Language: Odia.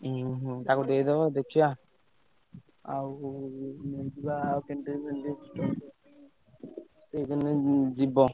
ଉହୁଁ ତାକୁ ଦେଇଦବ ଦେଖିଆ ଆଉ ସେ ଯିବ।